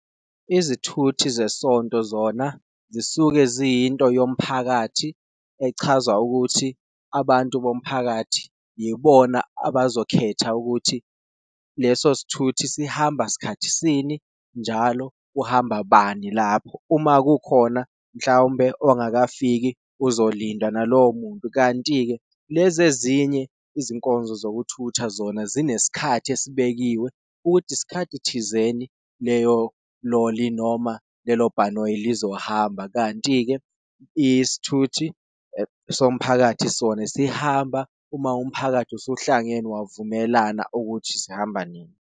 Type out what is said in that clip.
Izithuthi zesonto zona zisuke ziyinto yomphakathi echaza ukuthi abantu bomphakathi yibona abazokhetha ukuthi leso sithuthi sihamba sikhathi sini, njalo kuhamba bani lapho, uma kukhona mhlawumbe ongakafiki uzolindwa nalowo muntu. Kanti-ke lezi ezinye izinkonzo zokuthutha zona zinesikhathi esibekiwe ukuthi isikhathi thizeni leyo loli noma lelo bhanoyi lizohamba, kanti-ke isithuthi somphakathi sona sihamba uma umphakathi usuhlangene wavumelana ukuthi sihamba nini.